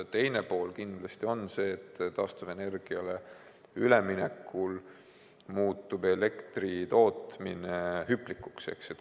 Teine pool on kindlasti see, et taastuvenergiale üleminekul muutub elektri tootmine hüplikuks.